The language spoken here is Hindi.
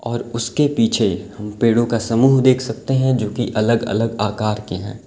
और उसके पीछे हम पेड़ों का समूह देख सकते है जो की अलग अलग आकार के हैं।